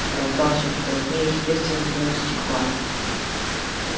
раздался вполне естественный звон стекла